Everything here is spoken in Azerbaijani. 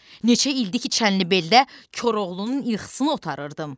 Neçə ildi ki, Çənlibeldə Koroğlunun ilxısını otarırdım.